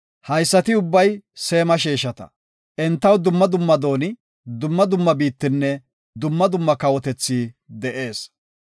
Haysati ubbay Seema sheeshata; entaw dumma dumma dooni, dumma dumma biittinne dumma dumma kawotethi de7ees.